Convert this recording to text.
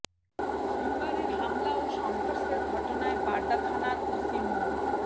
সোমবারের হামলা ও সংঘর্ষের ঘটনায় বাড্ডা থানার ওসি মো